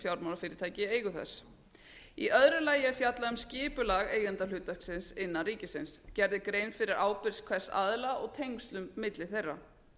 í eigu þess í öðru lagi er fjallað um skipulag eigendahlutverksins innan ríkisins gerð er grein fyrir ábyrgð hvers aðila og tengslum milli þeirra